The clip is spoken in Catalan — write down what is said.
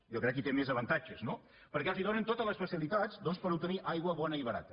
jo crec que hi té més avantatges no perquè els donen totes les facilitats doncs per obtenir aigua bona i barata